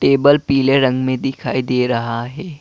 Table पीले रंग में दिखाई दे रहा है।